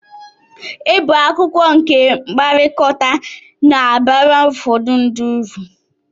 Ịbụ akụkụ nke mkpakọrịta na-abara ụfọdụ ndị ụrụ